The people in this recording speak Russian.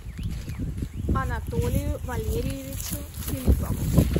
анатолию валериевичу филиппову